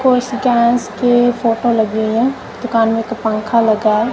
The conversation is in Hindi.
कुछ गैस के फोटो लगे हुई है दुकान में एक पंखा लगा है।